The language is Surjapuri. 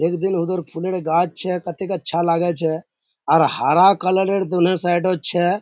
एक दिन उधर फुलर गाछ छै कतेक अच्छा छै आर हरा कलर दोनो साइड छै।